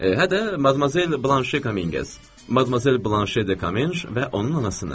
Hə də Madmazel Blanşe Kamengez, Madmazel Blanşe Dekamenj və onun anasını.